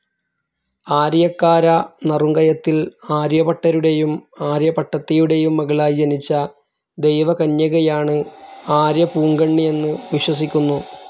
ആരിയക്കാര നറുംകയത്തിൽ ആര്യപ്പട്ടരുടെയും ആര്യ പട്ടത്തിയുടെയും മകളായി ജനിച്ച ദൈവകന്യകയാണ് ആര്യപ്പൂങ്കണ്ണി എന്ന് വിശ്വസിക്കുന്നു.